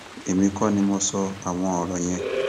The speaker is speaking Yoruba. èmi kọ ni mo sọ àwọn ọrọ yẹn